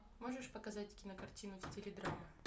можешь показать кинокартину в стиле драма